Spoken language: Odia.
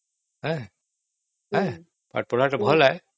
ପାଠପଢାଟା ବହୁତ ଭଲ